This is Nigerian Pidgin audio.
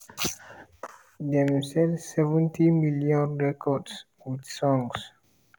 dem sell 70 million records with songs